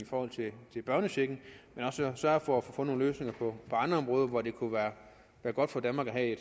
i børnechecken men også sørger for at få nogle løsninger på andre områder hvor det kunne være godt for danmark at